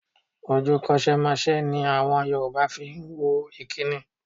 Ojú kòṣeémáṣe ni àwọn Yorùbá fi wo ìkínni.